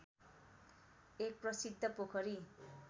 एक प्रसिद्ध पोखरी